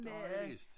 Det har jeg læst